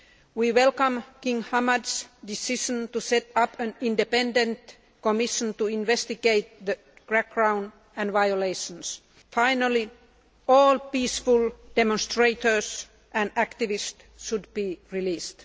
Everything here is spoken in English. We welcome King Hamad's decision to set up an Independent Commission to investigation the crackdown and violations. Finally, all peaceful demonstrators and activists should be released.